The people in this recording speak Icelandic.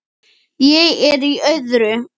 Ég er í öðru.